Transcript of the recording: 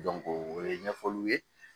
o ye ɲɛfɔliw ye